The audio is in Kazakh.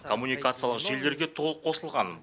коммуникациялық желілерге толық қосылған